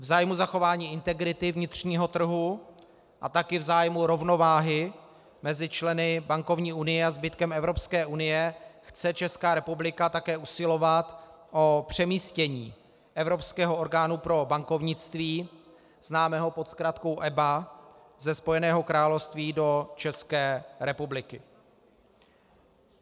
V zájmu zachování integrity vnitřního trhu a taky v zájmu rovnováhy mezi členy bankovní unie a zbytkem Evropské unie chce Česká republika také usilovat o přemístění Evropského orgánu pro bankovnictví, známého pod zkratkou EBA, ze Spojeného království do České republiky.